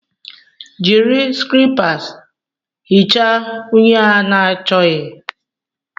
Jiri skrepas hichaa unyi a na-achọghị.